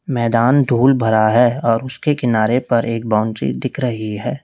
मैदान धूल भरा है और उसके किनारे पर एक बाउंड्री दिख रही है।